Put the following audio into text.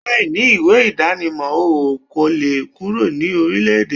Láì ní ìwé ìdánimọ̀, o kòle kúrò ní orílẹ-èdè